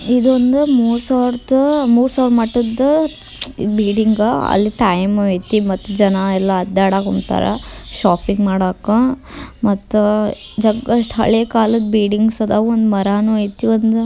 ಇದೊಂದು ಮುಸೋರುಡು ಮುಸ ಮಟದ್ದು ಬಿಲ್ಡಿಂಗ್ ಅಲ್ಲಿ ಟೈಮ್ ಅಯ್ತಿ ಮತ್ತೆ ಜನಯೆಲ್ಲಾ ಅಡ್ಡಡಕ್ಕೆ ನಿಂತರ ಷಾಪಿಂಗ್ ಮಾಡೋಕ್ಕೆ ಮತ್ತೆ ಜಗ್ಗೊಷ್ಟೂ ಹಳೆ ಕಾಲದ್ದು ಬಿಲ್ಡಿಂಗ್ಸ್ ಇದವೆ ಮರನು ಅಯ್ತಿ.